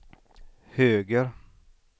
höger